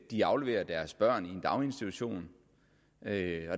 de afleverer deres børn i en daginstitution